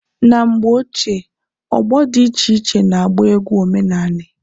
Na mgbe ochie ọgbọ dị iche iche na agba egwu omenani.